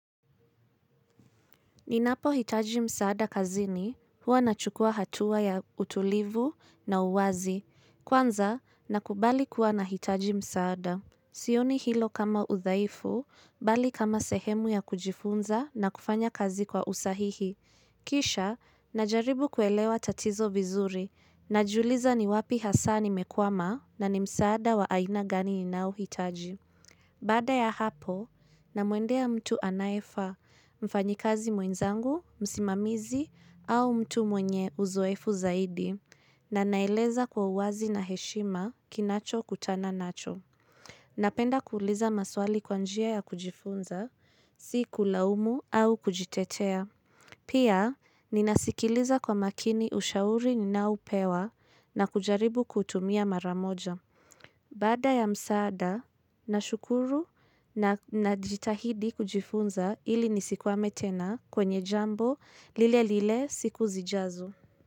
Ninapohitaji msaada kazini huwa na chukua hatua ya utulivu na uwazi, kwanza na kubali kuwa na hitaji msaada. Sioni hilo kama uthaifu, bali kama sehemu ya kujifunza na kufanya kazi kwa usahihi. Kisha, najaribu kuelewa tatizo vizuri, na juliza ni wapi hasani mekwama na ni msaada wa aina gani ni naohitaji. Bada ya hapo, namwendea mtu anayefa mfanyikazi mwenzangu, msimamizi au mtu mwenye uzoefu zaidi na naileza kwa uwazi na heshima kinacho kutana nacho. Napenda kuuliza maswali kwanjia ya kujifunza, si kulaumu au kujitetea. Pia, ninasikiliza kwa makini ushauri ni naupewa na kujaribu kutumia maramoja. Bada ya msaada na shukuru na jitahidi kujifunza ili nisikuwame tena kwenye jambo lile lile siku zijazo.